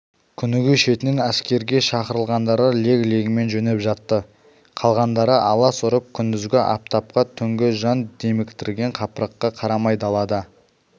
күніге шетінен әскерге шақырылғандары лек-легімен жөнеп жатты қалғандары алас ұрып күндізгі аптапқа түнгі жан деміктірген қапырыққа қарамай далада